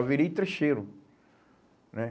Eu virei trecheiro né?